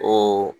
O